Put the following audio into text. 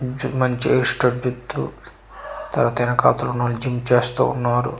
మంచి మంచి తర్వాత ఎనకతల ఉన్నవారు జిమ్ చేస్తు ఉన్నారు.